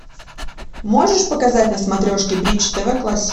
можешь показать на смотрешке бридж тв классик